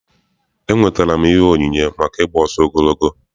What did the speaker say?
Enwetara m ihe onyinye maka ị gba ọsọ ogologo.